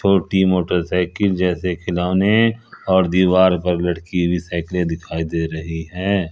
छोटी मोटरसाइकिल जैसे खिलौने और दीवार पर लटकी हुई साइकिलें दिखाई दे रही है।